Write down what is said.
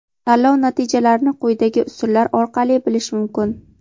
Tanlov natijalarini quyidagi usullar orqali bilish mumkin:.